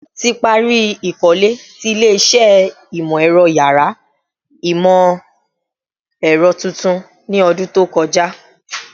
Ti pari ikole ti ile-iṣẹ Imọ-ẹrọ yàrá Imọ-ẹrọ tuntun ni ọdun to kọja